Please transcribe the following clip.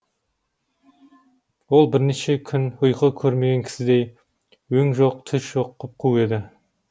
ол бірнеше күн ұйқы көрмеген кісідей өң жоқ түс жоқ құп қу еді